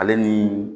Ale ni